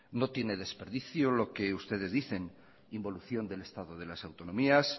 no tienen desperdicio lo que ustedes dicen involución del estado de las autonomías